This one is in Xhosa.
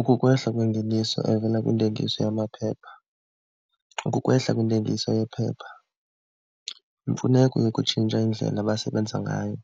Ukukwehla kwengeniso evela kwintengiso yamaphepha, ukukwehla kwentengiso yephepha, imfuneko yokutshintsha indlela abasebenza ngayo,